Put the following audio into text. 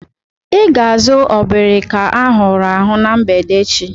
I ga-azu obrika ahụrụ ahu na mgbede echi.